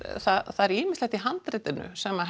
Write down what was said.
það er ýmislegt í handritinu sem